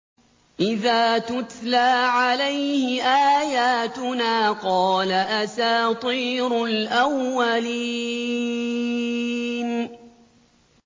إِذَا تُتْلَىٰ عَلَيْهِ آيَاتُنَا قَالَ أَسَاطِيرُ الْأَوَّلِينَ